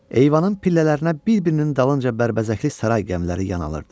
Eyvanın pillələrinə bir-birinin dalınca bərbəzəkli saray qəmiləri yanılırdı.